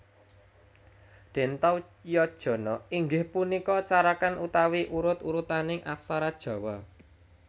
Dentawyanjana inggih punika carakan utawi urut urutaning aksara Jawa